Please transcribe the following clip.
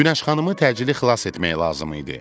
Günəş xanımı təcili xilas etmək lazım idi.